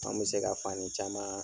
An mi se ka fani caman